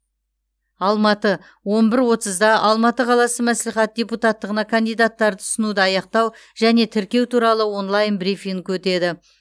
алматы он бір отызда алматы қаласы мәслихаты депутаттығына кандидаттарды ұсынуды аяқтау және тіркеу туралы онлайн брифинг өтеді